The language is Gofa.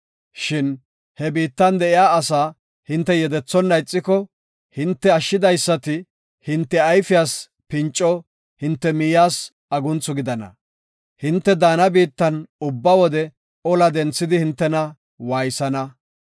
Shin he biittan de7iya asaa hinte yedethonna ixiko, hinte ashshidaysati hinte ayfiyas pinco, hinte miyiyas agunthu gidana; hinte daana biittan ubba wode ola denthidi hintena waaysana.